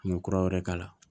An bɛ kura wɛrɛ k'a la